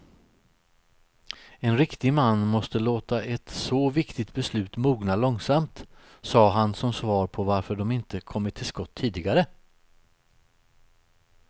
En riktig man måste låta ett så viktigt beslut mogna långsamt, sade han som svar på varför de inte kommit till skott tidigare.